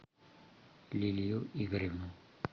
лилию игоревну